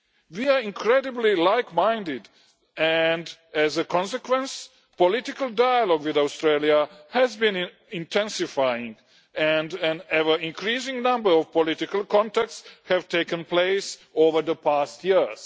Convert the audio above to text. We are incredibly like-minded and, as a consequence, political dialogue with Australia has been intensifying and an ever-increasing number of political contacts have taken place over the past years.